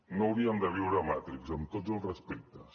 no hauríem de viure a matrix amb tots els respectes